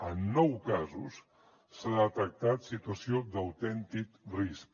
en nou casos s’ha detectat situació d’autèntic risc